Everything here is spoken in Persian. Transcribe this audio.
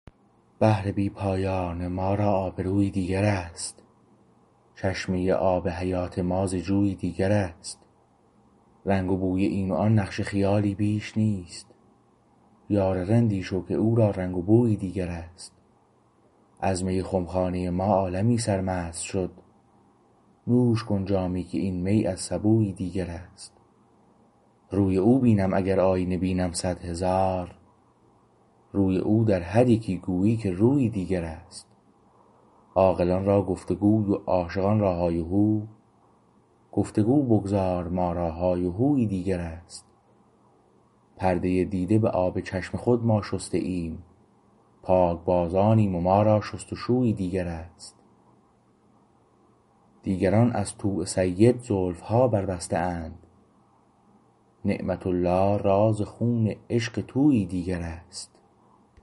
بحر بی پایان ما را آبرویی دیگر است چشمه آب حیات ما ز جویی دیگر است رنگ و بوی این و آن نقش خیالی بیش نیست یار رندی شو که او را رنگ و بویی دیگر است از می خمخانه ما عالمی سرمست شد نوش کن جامی که این می از سبویی دیگر است روی او بینم اگر آیینه بینم صدهزار روی او در هر یکی گویی که رویی دیگر است عاقلان راگفتگوی و عاشقان را های و هو گفتگو بگذار ما را های و هویی دیگر است پرده دیده به آب چشم خود ما شسته ایم پاک بازانیم و ما را شست و شویی دیگر است دیگران از طوع سید زلفها بربسته اند نعمة الله راز خون عشق طوعی دیگر است